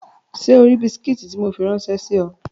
Ṣé o ri bisikí tí mo fi ráńṣẹ́ sí ọ?